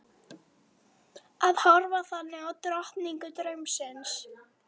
Að horfa þannig á drottningu draumsins.